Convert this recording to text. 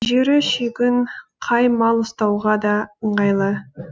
жері шүйгін қай мал ұстауға да ыңғайлы